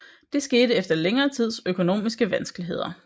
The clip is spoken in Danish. Dette skete efter længere tids økonomiske vanskeligheder